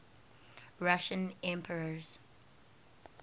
russian emperors